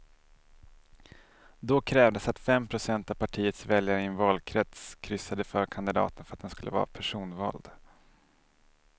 Då krävdes att fem procent av partiets väljare i en valkrets kryssade för kandidaten för att den skulle vara personvald.